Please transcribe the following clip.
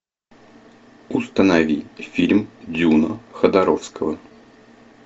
установи фильм дюна ходоровского